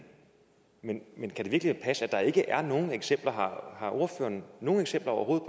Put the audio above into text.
men kan det virkelig passe at der ikke er nogen eksempler har ordføreren nogen eksempler overhovedet